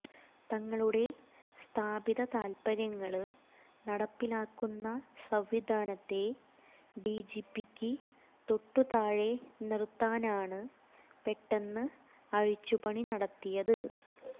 തങ്ങളുടെ സ്ഥാപിതതാത്പര്യങ്ങള് നടപ്പിലാക്കുന്ന സംവിധാനത്തെ ഡിജിപിക്ക് തൊട്ടുതാഴെ നിര്ത്താനാണ് പെട്ടെന്ന് അഴിച്ചുപണി നടത്തിയത്